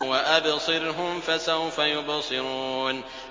وَأَبْصِرْهُمْ فَسَوْفَ يُبْصِرُونَ